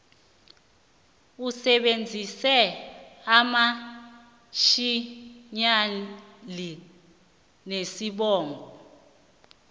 usebenzise amainitjhiyali nesibongo